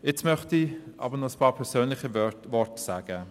Jetzt möchte ich aber noch einige persönliche Worte sagen.